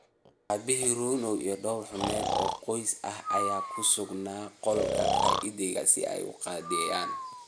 Aabihii, Ron, iyo dhawr xubnood oo qoys ah ayaa ku sugnaa qolka fadhiga si ay u qadeeyaan.